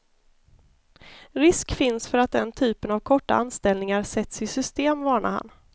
Risk finns för att den typen av korta anställningar sätts i system, varnar han.